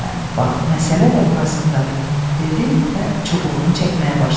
Hə, bax məsələ də burasındadır, dedi və çubuğunu çəkməyə başladı.